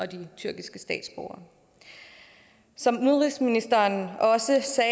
de tyrkiske statsborgere som udenrigsministeren også sagde